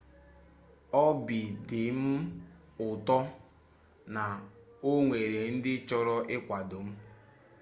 obị dị m ụtọ na o nwere ndị chọrọ ịkwado m